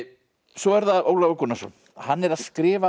svo er það Ólafur Gunnarsson hann er að skrifa